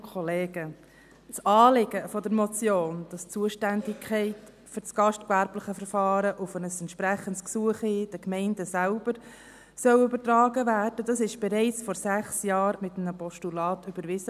Das Anliegen der Motion, dass die Zuständigkeit für das gastgewerbliche Verfahren auf ein entsprechendes Gesuch hin den Gemeinden übertragen werden soll, wurde bereits vor sechs Jahren mittels eines Postulats überwiesen.